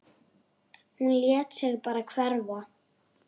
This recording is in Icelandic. Hún lét sig bara hverfa.